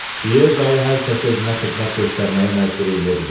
Pyer dayı hər kəsi özünə xidmət göstərməyə məcbur eləyə bilir.